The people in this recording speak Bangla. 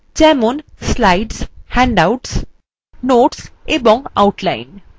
slides handouts বা বিলিপত্র notes and outline